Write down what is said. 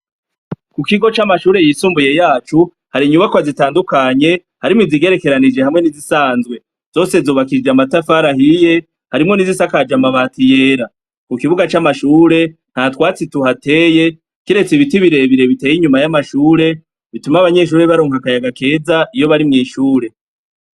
Ku kigo c'amashuri yisumbuye yacu, har'inyubakwa zitadukanye harimwo izigerekeranije hamwe n'izisazwe, nzose zubakishijwe amatafari ahiye harimwo nizisakajwe amabati yera, ku kibuga c'amashure nta twatsi tuhateye kiretse ibiti birebire biteye inyuma y'amashure bituma abanyeshure baronka akayaga keza iyo bari mw'ishure.